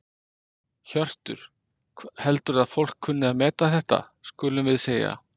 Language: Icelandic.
Hjörtur: Heldurðu að fólk kunni að meta þetta skulum við segja?